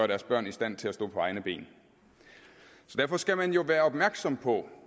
deres børn i stand til at stå på egne ben derfor skal man være opmærksom på